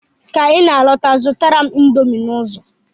Ka I na-alọta, zụtara m indomi n'ụzọ!